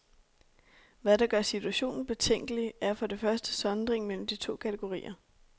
Hvad der gør situationen betænkelig, er for det første sondringen mellem de to kategorier.